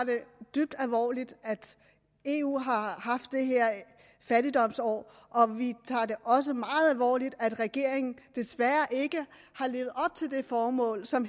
dybt alvorligt at eu har haft det her fattigdomsår og vi tager det også meget alvorligt at regeringen desværre ikke har levet op til det formål som